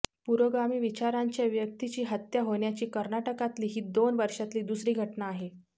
पुरोगामी विचारांच्या व्यक्तीची हत्या होण्याची कर्नाटकातली ही दोन वर्षातली दुसरी घटना आहे